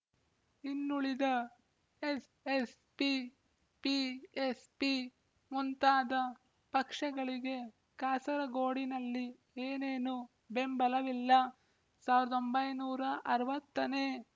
ಇನ್ನುಳಿದ SSP PSP ಮುಂತಾದ ಪಕ್ಷಗಳಿಗೆ ಕಾಸರಗೋಡಿನಲ್ಲಿ ಏನೇನೂ ಬೆಂಬಲವಿಲ್ಲ ಸಾವಿರದ ಒಂಬೈನೂರ ಅರವತ್ತು ನೇ